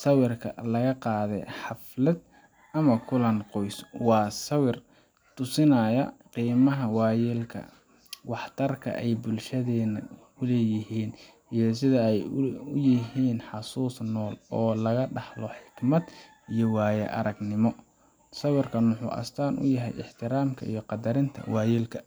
siwirka laga qadii xalfald ama kulan qos wa siwir tusinayo ximaha wayalka wax tarka bulshadayna, ku layihin ay sida ay ulayihin xasus oo laga dahlo xigmad iyo waya argnimo, siwirkan waxuu asatan uyahay ixtiramka qadarinta wayalka.